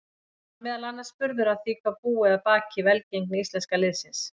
Hann var meðal annars spurður að því hvað búi að baki velgengni íslenska liðsins.